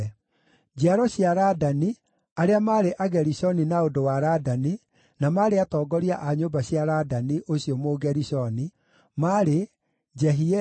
Njiaro cia Ladani, arĩa maarĩ Agerishoni na ũndũ wa Ladani, na maarĩ atongoria a nyũmba cia Ladani ũcio Mũgerishoni, maarĩ: Jehieli,